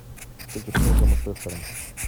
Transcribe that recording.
встреча тоттенхэма с лестером